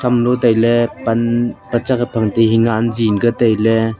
hamlo tailey pan panchak gahamdinghi han ji ankya tailey.